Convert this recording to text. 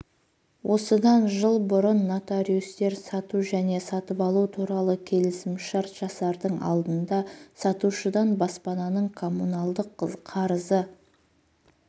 осыдан жыл бұрын нотариустер сату және сатып алу туралы келісімшарт жасардың алдында сатушыдан баспананың коммуналдық қарызы